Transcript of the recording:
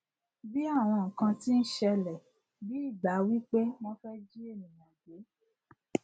bí àwọn nnkan tí ń ṣẹlẹ bí ìgbà wípé wón fẹ jí ènìyàn gbé